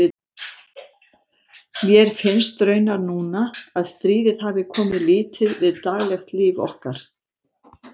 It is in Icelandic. Mér finnst raunar núna, að stríðið hafi komið lítið við daglegt líf okkar.